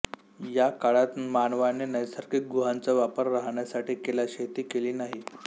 या काळात मानवाने नैसर्गिक गुहांचा वापर राहण्यासाठी केला शेती केली नाही